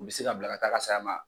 U bɛ se ka bila ka t'a ka saya ma.